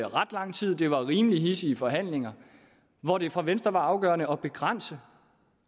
ret lang tid det var rimelig hidsige forhandlinger hvor det for venstre var afgørende at begrænse